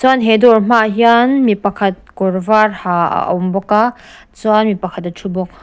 chuan he dawr hmaah hian mi pakhat kawr var ha a awm bawk a chuan mi pakhat a thu bawk.